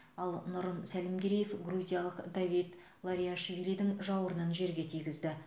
ал нұрым сәлімгереев грузиялық давид лориашвилидің жауырынын жерге тигізді